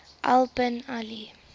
al bin ali